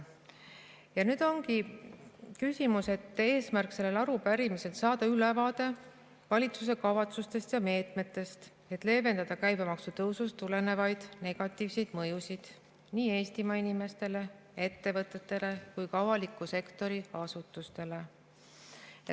Ja nüüd ongi küsimus, selle arupärimise eesmärk saada ülevaade valitsuse kavatsustest ja meetmetest, et leevendada käibemaksu tõusust tulenevaid negatiivseid mõjusid nii Eestimaa inimestele, ettevõtetele kui ka avaliku sektori asutustele.